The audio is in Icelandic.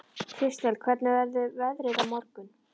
Kristel, hvernig verður veðrið á morgun?